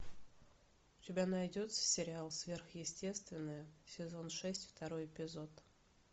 у тебя найдется сериал сверхъестественное сезон шесть второй эпизод